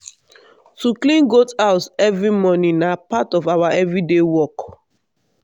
to clean goat house every morning na part of our every day work.